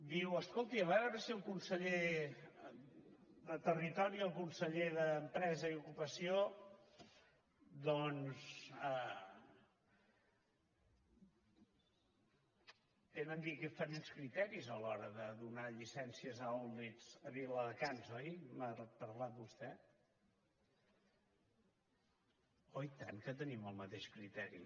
diu escolti a veure si el conseller de territori i el conseller d’empresa i ocupació doncs tenen diferents criteris a l’hora de donar llicències a outlets a viladecans oi m’ha parlat vostè oi i tant que tenim el mateix criteri